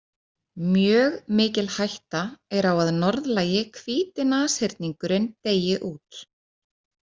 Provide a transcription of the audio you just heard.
Mjög mikil hætta er á að norðlægi hvíti nashyrningurinn deyi út.